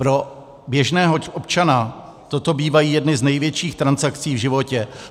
Pro běžného občana toto bývají jedny z největších transakcí v životě.